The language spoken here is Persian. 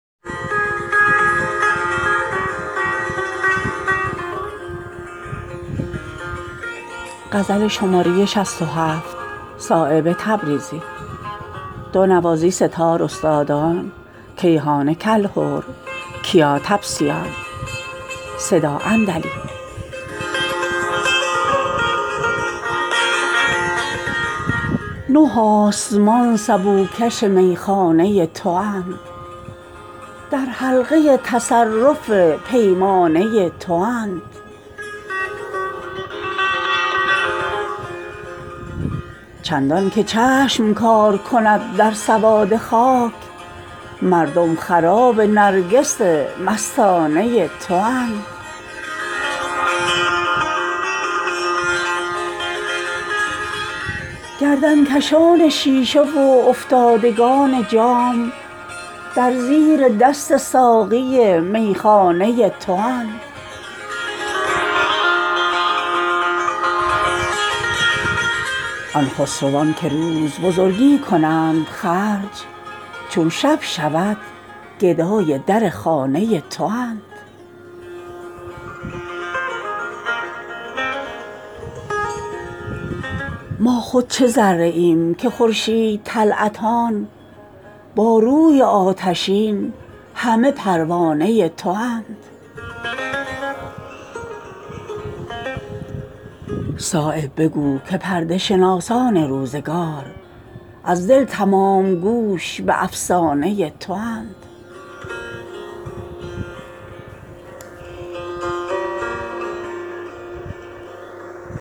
نه آسمان سبو کش میخانه تواند در حلقه تصرف پیمانه تواند چندان که چشم کار کند در سواد خاک مردم خراب نرگس مستانه تواند گردنکشان شیشه وافتادگان جام در زیر دست ساقی میخانه تواند نه آسمان ز طاق بلند تو شیشه ای است این خاک طینتان همه پیمانه تواند آن خسروان که روز بزرگی کنند خرج چون شب شود گدای در خانه تواند جمعی کز آشنایی عالم بریده اند در جستجوی معنی بیگانه تواند ما خود چه ذره ایم که خورشید طلعتان با روی آتشین همه پروانه تواند آزادگان که سر به فلک در نیاورند در آرزوی دام تو ودانه تواند صایب بگو که پرده شناسان روزگار از دل تمام گوش به افسانه تواند